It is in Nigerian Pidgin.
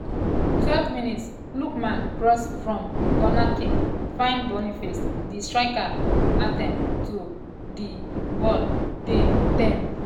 12 mins - lookman cross from um cornerkick find boniface di striker attempt to um jab di di ball dey tame.